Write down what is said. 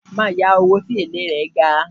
Ma yawo tí èlé rẹ̀ ga